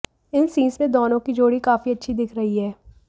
इन scenes में दोनों की जोड़ी काफी अच्छी दिख रही है